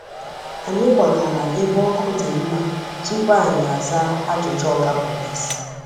Anyị kwagara ebe ọkụ dị mma tupu anyị aza ajụjụ Oga Pọlịs.